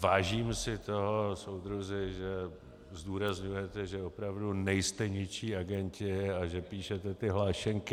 vážím si toho, soudruzi, že zdůrazňujete, že opravdu nejste ničí agenti a že píšete ty hlášenky.